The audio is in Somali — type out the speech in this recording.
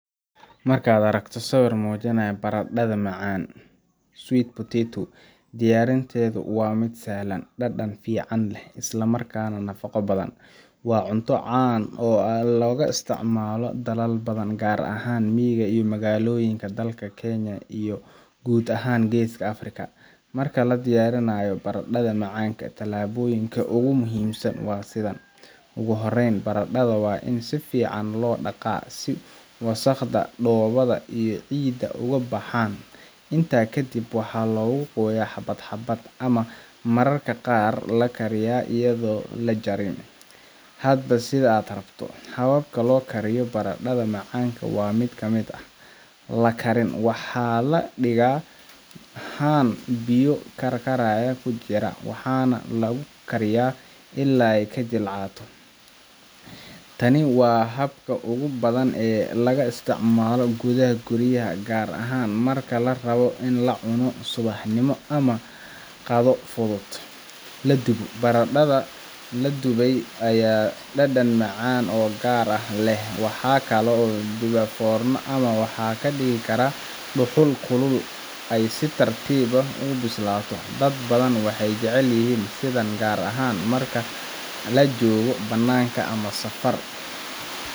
Marka aad aragto sawir muujinaya barandhada macaanka sweet potatoe, diyaarinteedu waa mid sahlan, dhadhan fiican leh, isla markaana nafaqo badan. Waa cunto caan ah oo laga isticmaalo dalal badan, gaar ahaan miyiga iyo magaalooyinka dalka Kenya iyo guud ahaan Geeska Afrika. Marka la diyaarinayo barandhada macaanka, talaabooyinka ugu muhiimsan waa sidan: Ugu horreyn, barandhada waa in si fiican loo dhaqaa si wasakhda, dhoobada iyo ciidda uga baxaan. Intaa kadib, waxaa lagu gooyaa xabad-xabad, ama mararka qaar waa la kariyaa iyadoo aan la jarin, hadba sida la rabo. Hababka loo kariyo barandhada macaanka waxaa ka mid ah: La karin: Waxaa la dhigaa haan biyaha karkaraya ku jira, waxaana lagu kariyaa ilaa ay jilcato. Tani waa habka ugu badan ee laga isticmaalo gudaha guryaha, gaar ahaan marka la rabo in la cuno subaxnimo ama qado fudud. La dubo: Barandhada la dubay ayaa leh dhadhan macaan oo gaar ah. Waxaa lagu duba foorno ama waxaa ka dhigi karaa dhuxul kulul oo ay si tartiib ah ugu bislaato. Dad badan waxay jecel yihiin sidaan gaar ahaan marka la joogo bannaanka ama safar.